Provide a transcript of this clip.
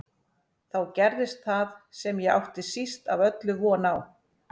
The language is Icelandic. Þá gerðist það sem ég átti síst af öllu von á.